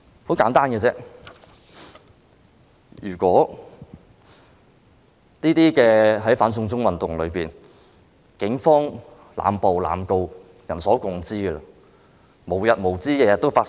很簡單，如果這些......在"反送中"運動中，警方濫捕、濫告是人所共知的事，而且無日無之，每天都在發生。